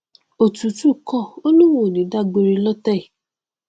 òtútù kọ ó lóun ò ní dá gbére lótẹ yìí